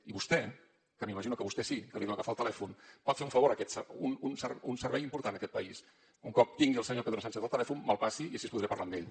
i vostè que m’imagino que a vostè sí que li deu agafar el telèfon pot fer un favor un servei important a aquest país un cop tingui el senyor pedro sánchez al telèfon me’l passa i així podré parlar amb ell